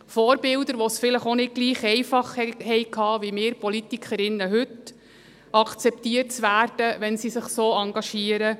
Vorbilder, die es nicht gleichermassen einfach hatten, wie wir Politikerinnen heute, wenn sie sich so engagieren;